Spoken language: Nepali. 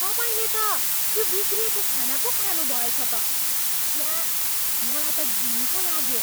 तपाईँले त त्यो बिग्रिएको खाना पो खानुभएछ त। छ्या! मलाई त घिन पो लाग्यो।